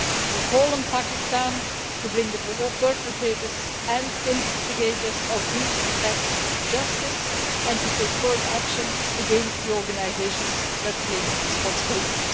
We call on Pakistan to bring the perpetrators and instigators of these attacks to justice and to take firm action against the organisations that claim responsibility.